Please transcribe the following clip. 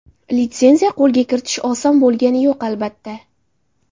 Litsenziya qo‘lga kiritish oson bo‘lgani yo‘q, albatta.